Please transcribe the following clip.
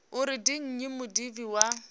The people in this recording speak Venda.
uri ndi nnyi mudivhi wa